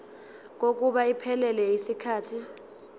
kokuba iphelele yisikhathi